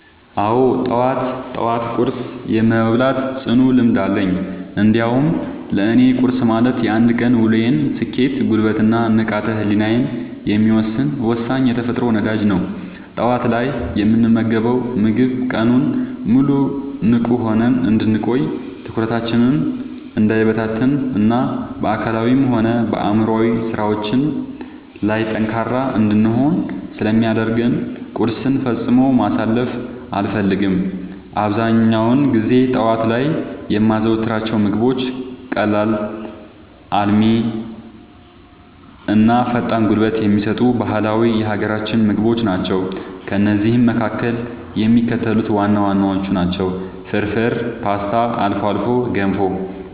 አዎ፣ ጠዋት ጠዋት ቁርስ የመብላት ጽኑ ልምድ አለኝ። እንዲያውም ለእኔ ቁርስ ማለት የአንድ ቀን ውሎዬን ስኬት፣ ጉልበት እና ንቃተ ህሊናዬን የሚወሰን ወሳኝ የተፈጥሮ ነዳጅ ነው። ጠዋት ላይ የምንመገበው ምግብ ቀኑን ሙሉ ንቁ ሆነን እንድንቆይ፣ ትኩረታችን እንዳይበታተን እና በአካላዊም ሆነ በአእምሯዊ ስራዎቻችን ላይ ጠንካራ እንድንሆን ስለሚያደርገን ቁርስን ፈጽሞ ማሳለፍ አልፈልግም። አብዛኛውን ጊዜ ጠዋት ላይ የማዘወትራቸው ምግቦች ቀላል፣ አልሚ እና ፈጣን ጉልበት የሚሰጡ ባህላዊ የሀገራችንን ምግቦች ናቸው። ከእነዚህም መካከል የሚከተሉት ዋና ዋናዎቹ ናቸው፦ ፍርፍር: ፖስታ: አልፎ አልፎ ገንፎ